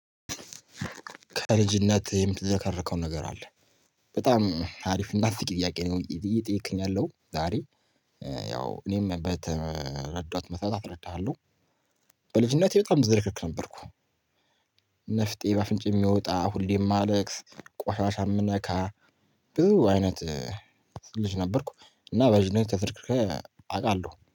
ከልጅነት የምትዘከርከው ነገር አለ። በጣም አሪፍ እና አስቂኝ ጥያቄ ነው እየጠየከኝ ያለከው ዛሬ ያው እኔም በተረዳት መስመር አስረዳሃለሁ። በልጅነቴ በጣም ዘርክርክ ነበርኩ። ንፍጤ በአፍንጫዬ የሚወጣ ሁሌም እማለቅስ ቆሻሻ የምነካ ብዙ አይነት ልጅ ነበርኩ እና በልጅነቴ ተዘረክርኬ አውቃለሁ